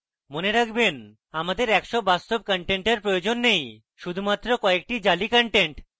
মনে রাখবেনআমাদের একশ বাস্তব contents প্রয়োজন নেই শুধুমাত্র কয়েকটি জালি contents